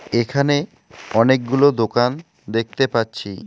এখানে অনেকগুলো দোকান দেখতে পাচ্ছি।